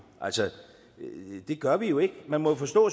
det gør vi jo ikke man må jo forstå